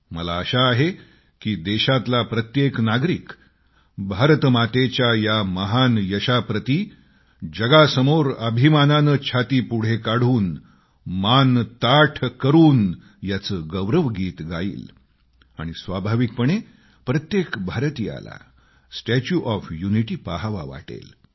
मला आशा आहे की देशातला प्रत्येक नागरिक भारतमातेच्या या महान यशाप्रती जगासमोर गर्वाने छाती पुढे कडून मान ताठ करून याचे गौरवगीत गाईल आणि स्वाभाविकपणे प्रत्येक भारतीयाला स्टॅच्यु ऑफ युनिटी पहावा वाटेल